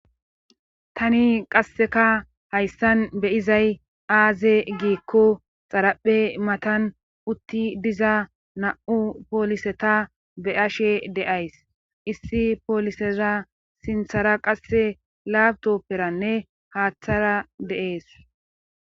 tani qasseka hayssan beyizay aaze giikko xaraphe matan utti diza na7u pooliseta be ashe de7ays issi pooliseza sinthara qasse laabtopperanne haaththara deees